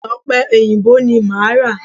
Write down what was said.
Ọ̀pẹ èyìǹbó ni máa ra.